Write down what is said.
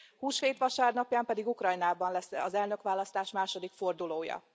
Húsvét vasárnapján pedig Ukrajnában lesz az elnökválasztás második fordulója.